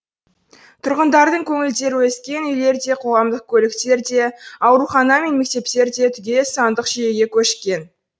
тұрғындардың көңілдері өскен үйлер де қоғамдық көліктер де аурухана мен мектептер де түгел сандық жүйеге көшкен